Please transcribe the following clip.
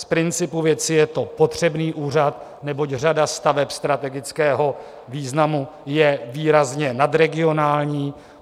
Z principu věci je to potřebný úřad, neboť řada staveb strategického významu je výrazně nadregionální.